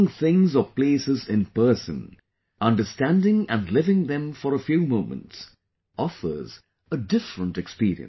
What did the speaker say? Seeing things or places in person, understanding and living them for a few moments, offers a different experience